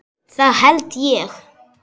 Það held ég